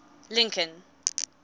lincoln